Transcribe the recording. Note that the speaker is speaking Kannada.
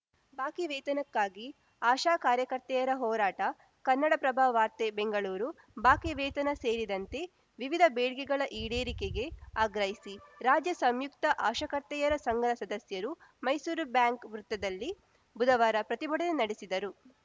ಬಾಕಿ ವೇತನಕ್ಕಾಗಿ ಆಶಾ ಕಾರ‍್ಯಕರ್ತೆಯರ ಹೋರಾಟ ಕನ್ನಡಪ್ರಭ ವಾರ್ತೆ ಬೆಂಗಳೂರು ಬಾಕಿ ವೇತನ ಸೇರಿದಂತೆ ವಿವಿಧ ಬೇಡಿಕೆಗಳ ಈಡೇರಿಕೆಗೆ ಆಗ್ರಹಿಸಿ ರಾಜ್ಯ ಸಂಯುಕ್ತ ಆಶಾ ಕರ್ತೆಯರು ಸಂಘದ ಸದಸ್ಯರು ಮೈಸೂರು ಬ್ಯಾಂಕ್‌ ವೃತದಲ್ಲಿ ಬುಧವಾರ ಪ್ರತಿಭಟನೆ ನಡೆಸಿದರು